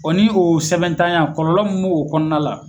O ni o sɛbɛnntanya kɔlɔlɔ min b'o kɔnɔna la